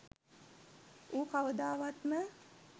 ඌ කවදාවත්ම